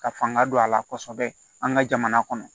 Ka fanga don a la kosɛbɛ an ka jamana kɔnɔ